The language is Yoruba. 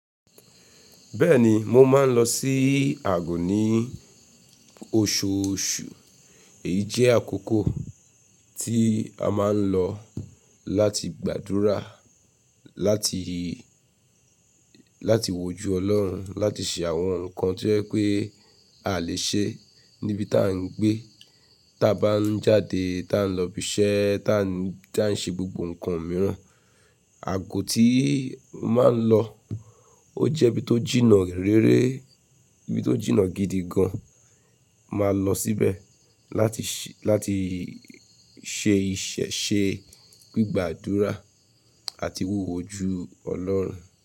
Bẹ́ẹ̀ni, mo máa ń lọ sí àgọ́ ní osoosù. Èyí jẹ́ àkókò tí a máa ń lọ láti gbàdúrà, láti, láti wòjú Ọlọ́run, láti ṣe àwọn nǹkan tí jẹ pé a lè ṣe níbi tá ń gbé, tá a bá ń jáde, tá a ń lọ ibi iṣẹ́, tá a ń ṣe gbogbo nǹkan mìíràn. Àgọ́ tí mo máa ń lọ ó jẹ́ ibi tó jìnnà réré, ibi tó jìnnà gidi gan. Máa lọ síbẹ̀ láti ṣe, láti ṣe ìṣe, ṣe gbígbàdúrà àti wi woju Ọlọ́run.